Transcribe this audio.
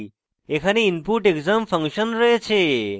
এখানে input _ exam function রয়েছে